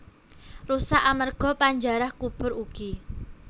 Rusak amerga panjarah kubur ugi